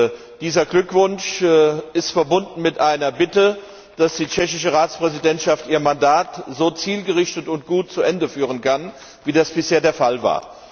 Und dieser Glückwunsch ist verbunden mit der Bitte, dass die tschechische Ratspräsidentschaft ihr Mandat so zielgerichtet und gut zu Ende führen kann, wie das bisher der Fall war.